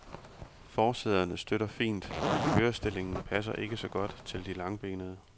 Forsæderne støtter fint, men kørestillingen passer ikke så godt til de langbenede.